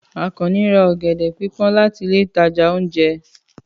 Àkànnì ra ọ̀gẹ̀dẹ̀ pípón láti ilé ìtajà ounjẹ.